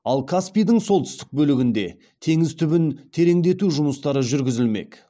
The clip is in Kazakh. ал каспийдің солтүстік бөлігінде теңіз түбін тереңдету жұмыстары жүргізілмек